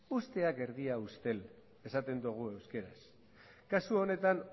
usteak erdia ustel esaten dugu euskeraz kasu honetan